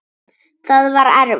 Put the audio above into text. Það var erfitt.